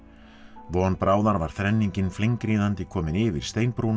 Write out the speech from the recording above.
von bráðar var þrenningin komin yfir